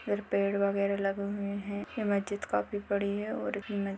पेड़ वगेरा लगे हुए है ये मजीद काफी बड़ी है। और-- ]